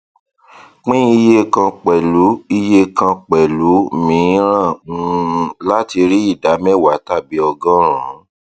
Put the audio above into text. pín iye kàn pẹlú iye kàn pẹlú miíràn um láti rí ìdá mẹwàá tàbí ọgọrùnún